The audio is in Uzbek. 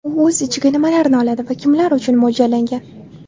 U o‘z ichiga nimalarni oladi va kimlar uchun mo‘ljallangan?